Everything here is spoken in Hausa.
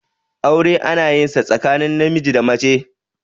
aure ana yin sa tsakanin namiji da mace